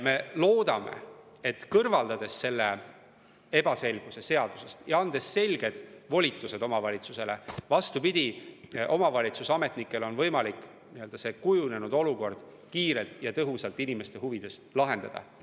Me loodame, et kui me selle ebaselguse seadusest kõrvaldame ja anname selged volitused omavalitsusele, siis, vastupidi, omavalitsuse ametnikel on võimalik kujunenud olukord kiirelt ja tõhusalt inimeste huvides lahendada.